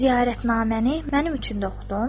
Ziyarətnaməni mənim üçün də oxudun?